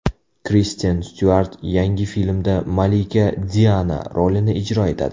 Kristen Styuart yangi filmda malika Diana rolini ijro etadi.